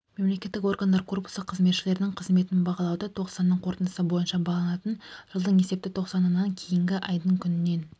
мемлекеттік органдар корпусы қызметшілерінің қызметін бағалауды тоқсанның қорытындысы бойынша бағаланатын жылдың есепті тоқсанынан кейінгі айдың күнінен